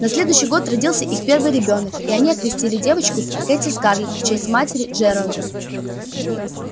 на следующий год родился их первый ребёнок и они окрестили девочку кэти-скарлетт в честь матери джералда